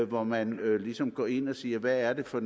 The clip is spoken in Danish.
hvor man ligesom går ind og siger hvad er det for